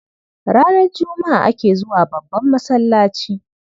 Ranar Juma'a ake zuwa babban masallaci.